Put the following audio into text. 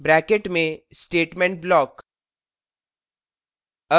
bracket में statement block